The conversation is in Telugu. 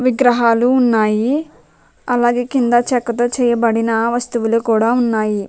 విగ్రహాలు ఉన్నాయి అలాగే కింద చెక్కతో చేయబడిన వస్తువులు కూడా ఉన్నయి.